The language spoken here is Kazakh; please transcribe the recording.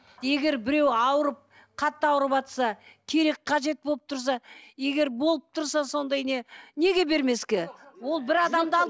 егер біреу ауырып қатты ауырватса керек қажет болып тұрса егер болып тұрса сондай не неге бермеске ол бір адамды